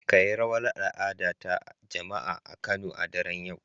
Kayi rawar al'ada ta jama'a a Kano a daren yau